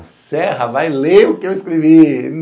O Serra vai ler o que eu escrevi.